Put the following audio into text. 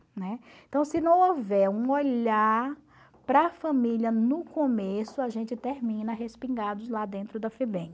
Né? Então, se não houver um olhar para a família no começo, a gente termina respingados lá dentro da FEBEM.